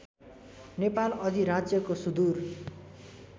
नेपाल अधिराज्यको सुदुर